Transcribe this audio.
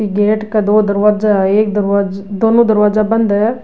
बि गेट क दो दरवाजा है एक दर दोनों दरवाजा बंद है।